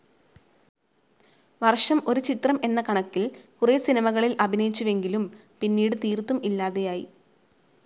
വർഷം ഒരു ചിത്രം എന്ന കണക്കിൽ കുറേ സിനിമകളിൽ അഭിനയിച്ചുവെങ്കിലും പിന്നീട് തീർത്തും ഇല്ലാതെയായി.